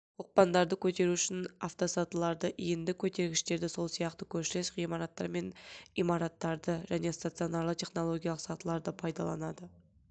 оқпандарды көтеру үшін автосатыларды иінді көтергіштерді сол сияқты көршілес ғимараттар мен имараттарды және стационарлы технологиялық сатыларды пайдаланады